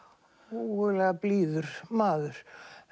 ógurlega blíður maður